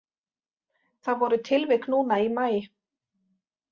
Það voru tilvik núna í maí.